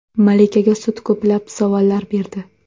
Malikaga sud ko‘plab savollar berdi.